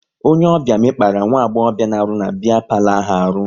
Onye ọbịa mekpara nwagbobia na-arụ na biya palo ahụ arụ